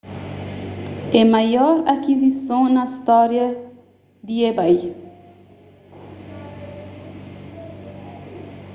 é maior akizison na storia di ebay